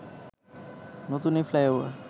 নতুন এই ফ্লাইওভার